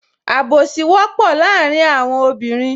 Àbùsí wọ́pọ̀ láàrin àwọn obìnrin